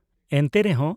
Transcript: ᱮᱱᱛᱮ ᱨᱮᱦᱚ